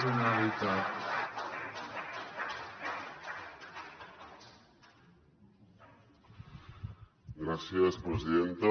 gràcies presidenta